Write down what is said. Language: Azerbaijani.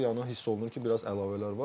Bunları yəni hiss olunur ki, biraz əlavələr var.